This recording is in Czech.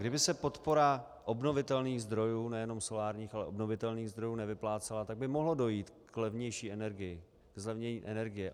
Kdyby se podpora obnovitelných zdrojů, nejenom solárních, ale obnovitelných zdrojů nevyplácela, tak by mohlo dojít k levnější energii, ke zlevnění energie.